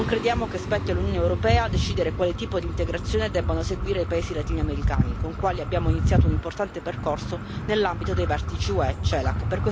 Non crediamo che spetti all'Unione europea decidere quale tipo di integrazione debbono seguire i paesi latino americani, con i quali abbiamo iniziato un importante percorso nell'ambito dei vertici UE CELAC.